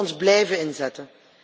We moeten ons blijven inzetten.